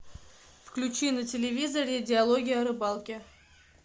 включи на телевизоре диалоги о рыбалке